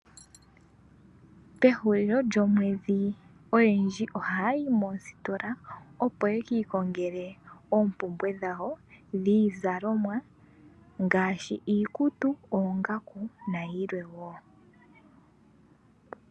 Pehulilo lyomwedhi oyendji ohaya yi moositola opo yekiikongele oompumbwe dhawo dhiizalomwa, ngaashi iikutu, oongaku, nayilwe wo.